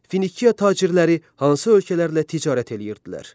Finiya tacirləri hansı ölkələrlə ticarət eləyirdilər?